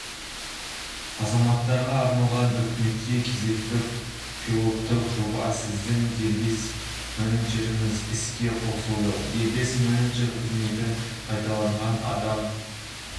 азаматтарға арналған үкіметте кезекті пилоттық жоба сіздің дербес менеджеріңіз іске қосылды дербес менеджер қызметін пайдаланған адам